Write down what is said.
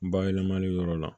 Bayɛlɛmali yɔrɔ la